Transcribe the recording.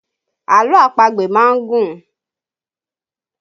Àlọ́ àpagbè má ń gùn